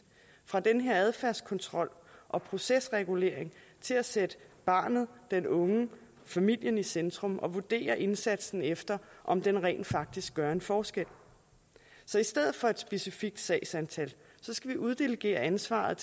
fra den her adfærdskontrol og procesregulering til at sætte barnet den unge familien i centrum og vurdere indsatsen efter om den rent faktisk gør en forskel så i stedet for et specifikt sagsantal skal vi uddelegere ansvaret